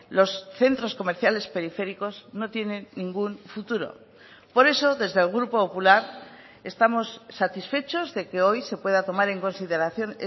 los centros comerciales periféricos no tienen ningún futuro por eso desde el grupo popular estamos satisfechos de que hoy se pueda tomar en consideración